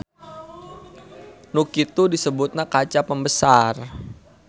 Nu kitu disebutna kaca pembesar.